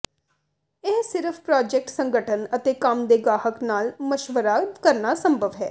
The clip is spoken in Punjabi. ਇਹ ਸਿਰਫ ਪ੍ਰਾਜੈਕਟ ਸੰਗਠਨ ਅਤੇ ਕੰਮ ਦੇ ਗਾਹਕ ਨਾਲ ਮਸ਼ਵਰਾ ਕਰਨਾ ਸੰਭਵ ਹੈ